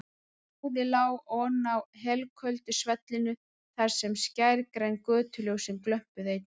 Blóðið lá oná helköldu svellinu þar sem skærgræn götuljósin glömpuðu einnig.